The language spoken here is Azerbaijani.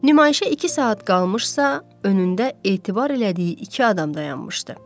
Nümayişə iki saat qalmışsa, önündə etibar elədiyi iki adam dayanmışdı.